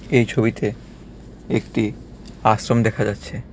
এই ছবিতে একটি আশ্রম দেখা যাচ্ছে.